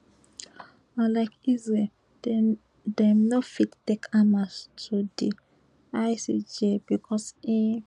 unlike israel dem dem no fit take hamas to di icj becos e